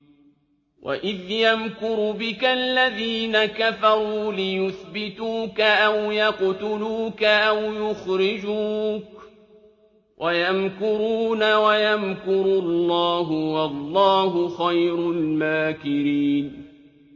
وَإِذْ يَمْكُرُ بِكَ الَّذِينَ كَفَرُوا لِيُثْبِتُوكَ أَوْ يَقْتُلُوكَ أَوْ يُخْرِجُوكَ ۚ وَيَمْكُرُونَ وَيَمْكُرُ اللَّهُ ۖ وَاللَّهُ خَيْرُ الْمَاكِرِينَ